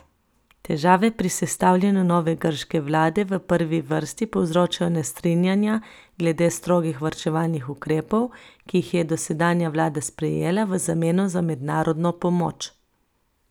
Težave pri sestavljanju nove grške vlade v prvi vrsti povzročajo nestrinjanja glede strogih varčevalnih ukrepov, ki jih je dosedanja vlada sprejela v zameno za mednarodno pomoč.